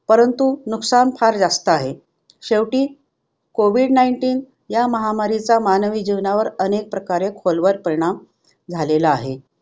परंतु नुकसान फार जास्त आहे. शेवटी कोविड nineteen ह्या महामारीचा मानवी जीवनावर अनेक प्रकारे खोलवर परिणाम झालेला आहे.